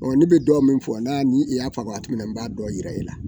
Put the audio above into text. Ɔ ne bɛ dɔ min fɔ n'a ni i y'a fɔ min na n b'a dɔn yira e la.